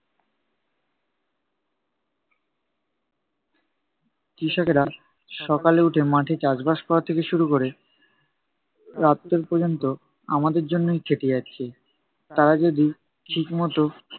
কৃষকেরা সকালে উঠে মাঠে চাষবাস করা থেকে শুরু করে, রাত্তির পর্যন্ত আমাদের জন্যই খেটে যাচ্ছে। তারা যদি ঠিকমতো